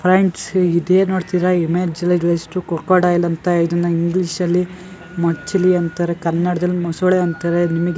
ಫ್ರೆಂಡ್ಸ್-ಸ್ ಇದೇ ನೋಡ್ತಿದಿರಾ image like ಎಷ್ಟು ಕೊಕೊಡೈಲ್ ಅಂತ ಇದನ್ನ ಇಂಗ್ಲೀಷಲ್ಲಿ ಮಚಿಲೀ ಅಂತರೆ. ಕನ್ನಡದಲ್ ಮೊಸೊಳೆ ಅಂತರೆ ನಿಮಿಗ್--